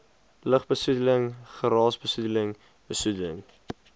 lugbesoedeling geraasbesoedeling besoedeling